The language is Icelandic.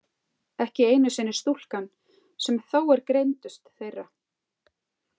Ekki einu sinni stúlkan sem þó er greindust þeirra.